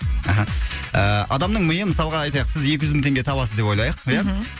аха ыыы адамның миы мысалға айтайық сіз екі жүз мың теңге табасыз деп ойлайық ия мхм